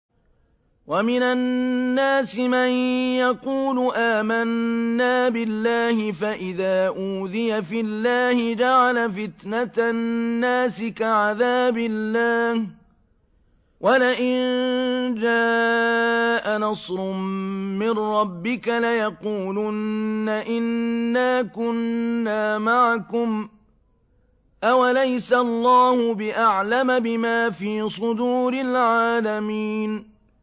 وَمِنَ النَّاسِ مَن يَقُولُ آمَنَّا بِاللَّهِ فَإِذَا أُوذِيَ فِي اللَّهِ جَعَلَ فِتْنَةَ النَّاسِ كَعَذَابِ اللَّهِ وَلَئِن جَاءَ نَصْرٌ مِّن رَّبِّكَ لَيَقُولُنَّ إِنَّا كُنَّا مَعَكُمْ ۚ أَوَلَيْسَ اللَّهُ بِأَعْلَمَ بِمَا فِي صُدُورِ الْعَالَمِينَ